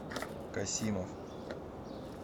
касимов